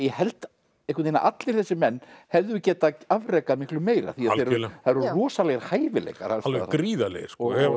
held einhvern veginn að allir þessir menn hefðu getað afrekað miklu meira því það eru rosalegir hæfileikar alls alveg gríðarlegir